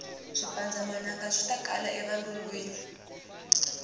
swipanndza manangaswitakala e valungwini